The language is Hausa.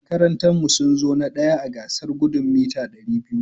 Makarantan mu sunzo na ɗaya a gasar Gudun Meeta Dari biyu (200)